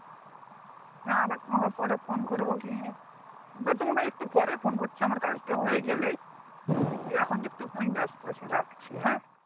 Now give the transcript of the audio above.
হ্যাঁ আবার তোমাকে phone করবো কি বা তোমাকে একটু পরেই phone করছি আমার কাজ টা হয়ে গেলেই একটু এখুন একটু খানিক বেস্ত আছি রাখছি হ্যাঁ